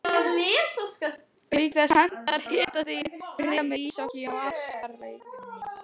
Auk þess hentar hitastigið fremur íshokkí en ástarleik.